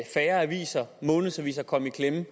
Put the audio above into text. færre aviser månedsviser kommer i klemme